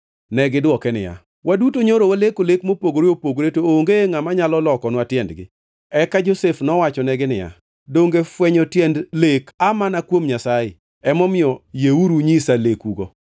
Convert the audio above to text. Negidwoke niya, “Waduto nyoro waleko lek mopogore opogore, to onge ngʼama nyalo lokonwa tiendgi.” Eka Josef nowachonegi niya, “Donge fwenyo tiend lek aa mane kuom Nyasaye? Emomiyo yieuru unyisa lekugo.”